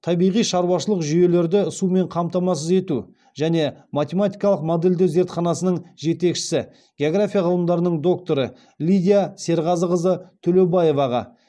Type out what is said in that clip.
табиғи шаруашылық жүйелерді сумен қамтамасыз ету және математикалық модельдеу зертханасының жетекшісі география ғылымдарының докторы лидия серғазықызы төлеубаеваға